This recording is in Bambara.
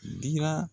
Dira